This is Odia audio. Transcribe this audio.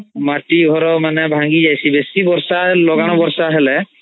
ମାଟି ଘର ମାନେ ଭାଂଗୀ ଯାଇଶୀ ବେସୀ ବର୍ଷା ଲଗାଣ ବର୍ଷା ହେଲେ